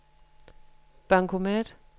bankomat